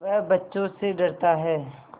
वह बच्चों से डरता है